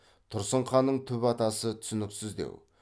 тұрсын ханның түп атасы түсініксіздеу